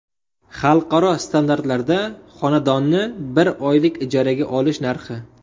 Xalqaro standartlarda xonadonni bir oylik ijaraga olish narxi.